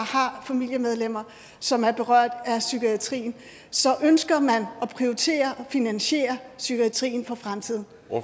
har familiemedlemmer som er berørt af psykiatrien så ønsker man at prioritere og finansiere psykiatrien for fremtiden